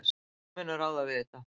Þau munu ráða við þetta.